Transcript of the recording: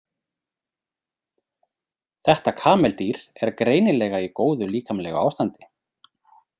Þetta kameldýr er greinilega í góðu líkamlegu ástandi.